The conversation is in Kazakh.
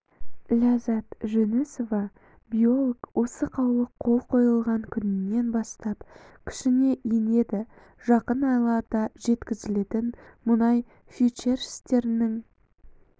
ләззат жүнісова биолог осы қаулы қол қойылған күнінен бастап күшіне енеді жақын айларда жеткізілетін мұнай фьючерстерінің